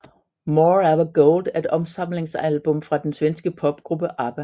More ABBA Gold er et opsamlingsalbum fra den svenske popgruppe ABBA